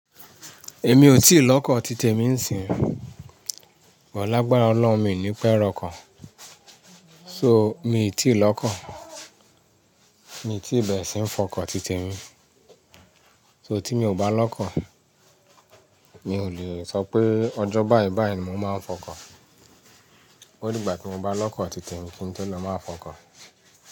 Èmi ò tíì lọ́kọ̀ titèmi ń sìnhín. Ọ̀la agbára Ọlọ́run mi ò ní pẹ́ rọkọ̀. So, mi ì tí ì lọ́kọ̀. Mi ò tíì bẹ̀rẹ̀ síí fọkọ̀ titèmi. So, tí mi ò bá lọ́kọ̀, mi ò lè sọ pé ọjọ́ báyìíbàyí ni mò máa ń fọkọ̀. Ó dìgbà tí mo bá lọ́kọ̀ titèmi kí n tó lè máa fọkọ̀